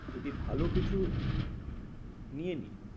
যদি ভালো কিছু নিয়ে নি।